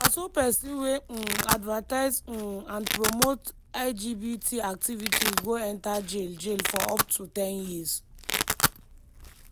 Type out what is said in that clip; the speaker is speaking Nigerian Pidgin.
na so pesin wey um advertise um and promote lgbt activities go enta jail jail for up to ten years.